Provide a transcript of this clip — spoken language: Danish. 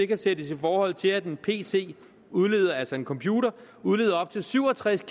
kan sættes i forhold til at en pc altså en computer udleder op til syv og tres